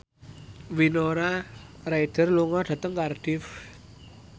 Winona Ryder lunga dhateng Cardiff